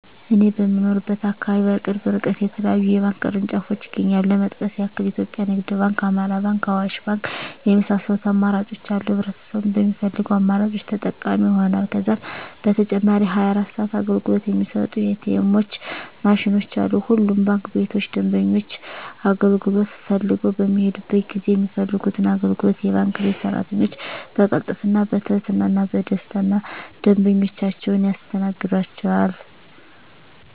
እኔ በምኖርበት አካባቢ በቅርብ እርቀት የተለያዩ የባንክ ቅርንጫፎች ይገኛሉ ለመጥቀስ ያክል ኢትዮጵያ ንግድ ባንክ፣ አማራ ባንክ፣ አዋሽ ባንክ የመሳሰሉት አማራጮች አሉ ህብረተሰቡም በሚፈልገው አማራጮች ተጠቃሚ ይሆናሉ። ከዛም በተጨማሪ 24 ሰዓት አገልግሎት የሚሰጡ ኢ.ቲ. ኤምዎች ማሽኖችም አሉ። ሁሉም ባንክ ቤቶች ደንበኞች አገልግሎት ፈልገው በሚሔዱበት ጊዜ የሚፈልጉትን አገልግሎት የባንክ ቤት ሰራተኞች በቅልጥፍና፣ በትህትና እና በደስታና ደንበኞቻቸውን ያስተናግዷቸዋል! ዠ።